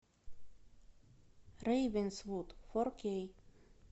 рейвенсвуд фор кей